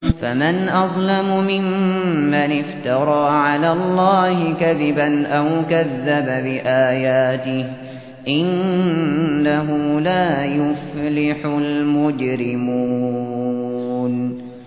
فَمَنْ أَظْلَمُ مِمَّنِ افْتَرَىٰ عَلَى اللَّهِ كَذِبًا أَوْ كَذَّبَ بِآيَاتِهِ ۚ إِنَّهُ لَا يُفْلِحُ الْمُجْرِمُونَ